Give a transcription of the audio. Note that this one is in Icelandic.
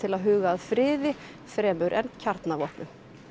að huga að friði fremur en kjarnavopnum